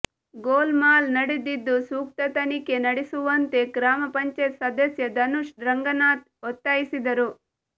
ಗೋಲ್ ಮಾಲ್ ನಡೆದಿದ್ದು ಸೂಕ್ತ ತನಿಖೆ ನಡೆಸುವಂತೆ ಗ್ರಾಪಂ ಸದಸ್ಯ ಧನುಷ್ ರಂಗನಾಥ್ ಒತ್ತಾಯಿಸಿದರು